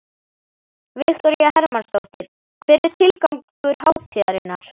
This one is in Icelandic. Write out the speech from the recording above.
Viktoría Hermannsdóttir: Hver er tilgangur hátíðarinnar?